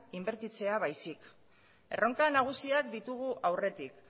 inbertitzea baizik erronka nagusiak ditugu aurretik